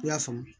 I y'a faamu